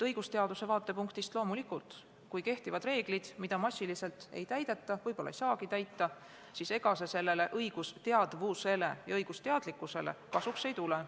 Õigusteaduse vaatepunktist on loomulikult nii, et kui kehtivad reeglid, mida massiliselt ei täideta ja mida võib-olla ei saagi täita, siis ega see õigusteadvusele ja õigusteadlikkusele kasuks ei tule.